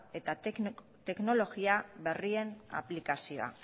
eta teknologia berrien aplikazioa